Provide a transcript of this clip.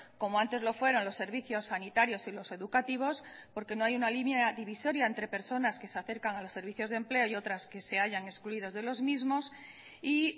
como antes lo fueron los servicios sanitarios y los educativos porque no hay una línea divisoria entre personas que se acercan a los servicios de empleo y otras que se hayan excluidos de los mismos y